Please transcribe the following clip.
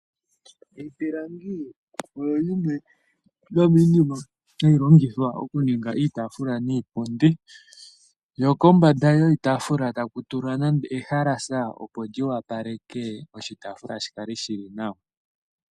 Iipilangi oyo yimwe yomiinima hayi longithwa okuninga iitafula niipundi, ko kombanda yoshitafula taku tulwa ehalasha opo li wapaleke oshitafula shi kale shi li nawa.